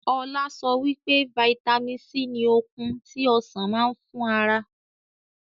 Ọlá sọ wípé vitamin C ni okun tí Ọsàn máa ń fún ara.